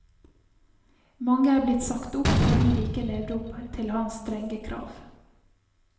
Mange er blitt sagt opp fordi de ikke levde opp til hans strenge krav.